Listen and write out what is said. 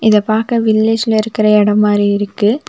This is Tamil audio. இத பாக்க வில்லேஜ்ல இருக்க எடோ மாரி இருக்கு.